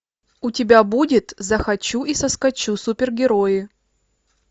у тебя будет захочу и соскочу супергерои